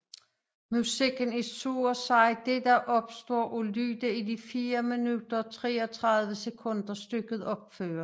Musikken er så at sige det der opstår af lyde i de 4 minutter og 33 sekunder stykket opføres